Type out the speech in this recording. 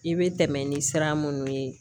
I bɛ tɛmɛ ni siran minnu ye